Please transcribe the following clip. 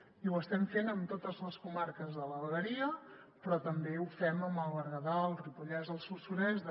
i ho estem fent amb totes les comarques de la vegueria però també ho fem amb el berguedà el ripollès el solsonès